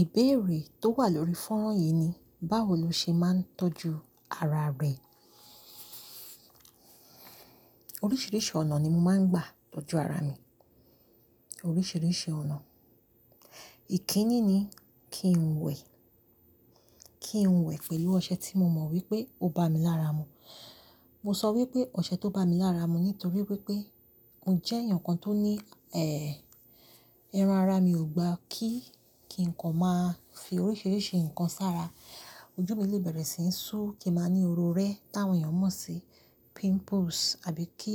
Ìbéèrè tó wà lórí fónrán yìí ni, báwo lo ṣe máa ń tọ́jú ara rẹ? Oríṣiríṣi ọ̀nà ni mo máa ń gbà tọ́jú ara mi, oríṣiríṣi ọ̀nà. Ìkíni ni kí n wẹ̀, kí n wẹ̀ pẹ̀lú ọṣẹ tí mo mọ̀ wípé ó ba mi lára mu. Mo sọ wípé ọṣẹ tó ba mi lára mu nítorí wípé mo jẹ́ èèyàn kan tó ní, ẹran ara mi ò gba kí kí ǹkan máa fi oríṣiríṣi ǹkan sára. Ojú mi lè bẹ̀rẹ̀ sí ń ṣú, kí a máa ní oró rẹ́ táwọn èèyàn mọ̀ sí, pimples, àbí kí,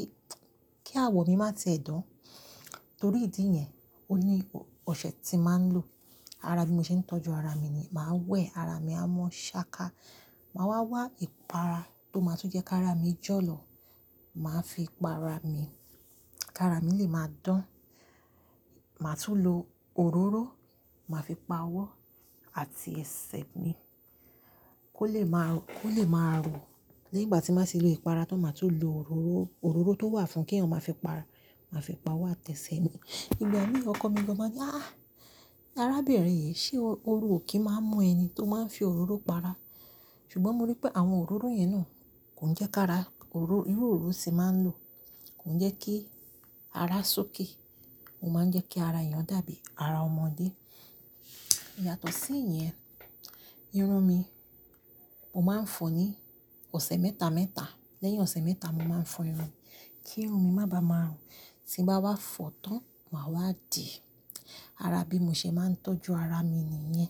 kí àwọ̀ mi má ti ẹ́ dán. Torí ìdí yẹn, o ní ọṣẹ tí màá ń lò. Ara bí mo ṣe ń tọ́jú ara mi ni, màá wẹ̀ ara mi, àmọ́ ṣáka. Màá wá wá ìpara tó máa tún jẹ́ ká ra mi jọ̀lọ̀. Màá fi pa ara mi, ká ra mi lè máa dán. Màá tún lo òróró, màá fi pa ọwọ́ àti ẹsẹ̀ mi, kó lè máa rò, kó lè máa rò. Lẹ́yìn ìgbà tí m bà ti lo ìpara tán, màá tún lo òróró, òróró tó wà fún kí èèyàn máa fi pa ara, màá fi pa ọwọ́ àti ẹsẹ̀ mi. Igbà mìí ọkọ mi gan máa ní áa, "Arábìnrin yìí, ṣé oru ò kí máa ń mú ẹni tó máa ń fi òróró pa ara?" Ṣùgbọ́n mo rí pé àwọn òróró yẹn náà kò ń jẹ́ ká ara, irú òróró tí màá ń lò kò ń jẹ́ kí ara suki. Ó máa ń jẹ́ kí ara èèyàn dàbí ara ọmọdé. Yàtọ̀ sí ìyẹn, irun mi, mo máa ń fọ ní ọ̀sẹ̀ mẹ́ta mẹ́ta. Lẹ́yìn ọ̀sẹ̀ mẹ́ta, mo máa ń fọ irun, kí irun mi má bàa máa rùn. Tí bá wá fọ tán, màá wá dì. Ara bí mo ṣe máa ń tọ́jú ara mi nìyẹn.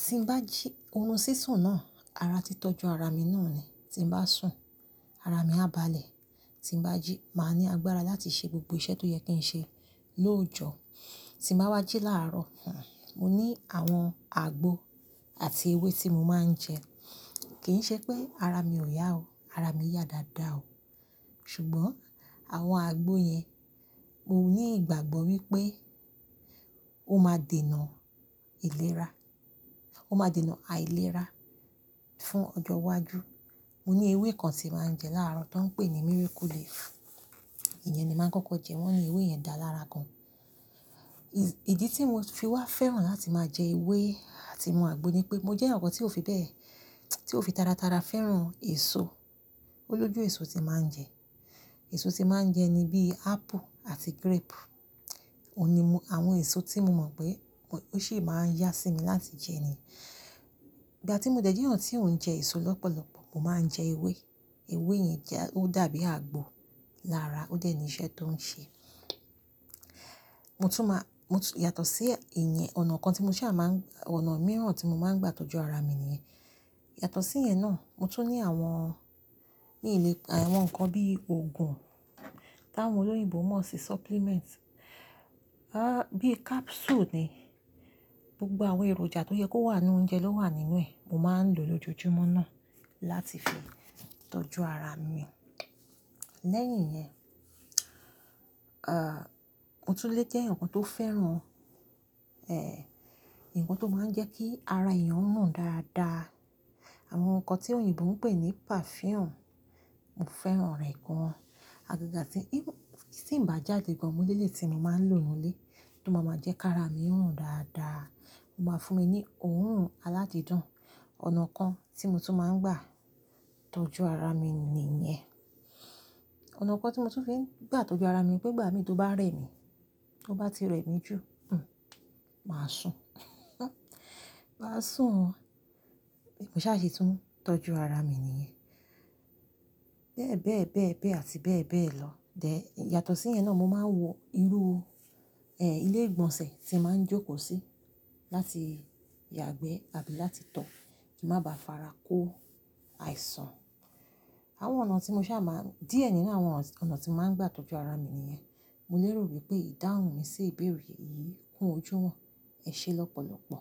Ti ń bá jí, òrun sí sùn náà, ara tí tọ́jú ara mi náà ni. Tí ń bá sùn, ara mi á balẹ̀. Tí ń bá jí, màá ní agbára láti ṣe gbogbo iṣẹ́ tó yẹ kí n ṣe lóòjọ́. Tí ń bá wá jí láàrọ̀, mo ní àwọn àgbo àti ewé tí mo máa ń jẹ. Kì í ṣe pé ara mi ò yá o. Ara mi yá dáadáa o. Ṣùgbọ́n àwọn àgbo yẹn, mo ní ìgbàgbọ́ wípé ó máa dènà ìlera, ó máa dènà àìlera fún ọjọ́ iwájú. Mo ní ewé kan tí màá ń jẹ láàrọ̀ tó ń pè ní Miracle Leaf. Ìyẹn ni màá ń kọ́kọ́ jẹ, wọ́n ní ewé yẹn dáa lára gan. Ìdí tí mo fi wá fẹ́ràn láti máa jẹ ewé àti mu àgbo ni pé mo jẹ́ èyàn kan tí ó fi bẹ́ẹ̀, tí ó fi tara tara fẹ́ràn èso. O lójú èso tí màá ń jẹ. Èso tí màá ń jẹ ni bí apple àti grape. Ó ní mu àwọn èso tí mo mọ̀ pé ó sì máa ń yá sí mi láti jẹ ni. Ìgbà tí mo dé jẹ́ èèyàn tí ò ń jẹ èso lọ́pọ̀lọ́pọ̀, mo máa ń jẹ ewé. Ewé yẹn jẹ́, ó dàbí àgbo lára, ó dẹ̀ ní iṣẹ́ tó ń ṣe. Mo tún máa, mo tún, yàtọ̀ sí ìyẹn, ọ̀nà kan tí mo sá máa ń, ọ̀nà mìíràn tí mo máa ń gbà tọ́jú ara mi ni, yàtọ̀ sí ìyẹn náà, mo tún ní àwọn, àwọn nǹkan bí òògùn táwọn olóyìnbo mò ṣi supplement. Bí capsule ni. Gbogbo àwọn èròjà tó yẹ kó wà nínú oúnjẹ ló wà nínú ẹ̀. Mo máa ń lò lójoojúmọ́ náà láti fi tọ́jú ara mi. Lẹ́yìn yẹn, mo tún lè jẹ́ èyàn kan tó fẹ́ràn, ǹkan tó máa ń jẹ́ kí ara èèyàn hùn dáadáa. Àwọn nǹkan tí òyìnbó ń pè ní perfume, mo fẹ́ràn rẹ̀ gan. Àgàgà tí, tí ń bá jáde gan, mo ní èléyìí tí mo máa ń lò nù ú lé, tó máa ma jẹ́ ká ara mi rùn dáadáa. Ó máa fún mi ní òórùn aládìídun. Ọ̀nà kan tí mo tún máa ń gbà tọ́jú ara mi nìyẹn. Ọ̀nà kan tí mo tún fi ń gbà tọ́jú ara mi pé ìgbà mi tó bá rẹ̀ mi, tó bá ti rẹ̀ mi jù, màá sùn. Màá sùn. Mo ṣà se tún tọ́jú ara mi nìyẹn. Bẹ́ẹ̀ bẹ́ẹ̀ bẹ́ẹ̀ bẹ́ẹ̀ àti bẹ́ẹ̀ bẹ́ẹ̀ lọ. Dẹ̀ yàtọ̀ sí ìyẹn náà, mo máa ń wọ irú, ilé ìgbọ̀nsẹ̀ tí màá ń jókòó sí láti yàgbẹ́ àbí láti tọ̀ kí ń má bá farako àìsàn. Àwọn ọ̀nà tí mo sì á máa ń, díẹ̀ nínú àwọn ọ̀nà tí mo máa ń gbà tọ́jú ara mi nìyẹn. Mo lérò wípé ìdáhùn mi sí ìbéèrè yìí kún ojú wọn. Ẹ ṣe lọ́pọ̀lọ́pọ̀.